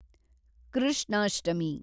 Krishnashtami